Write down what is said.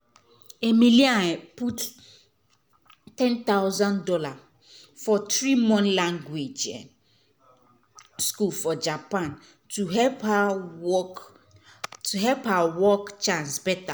emily um put ten thousand dollars for 3-month language school for japan to help her work to help her work chance better.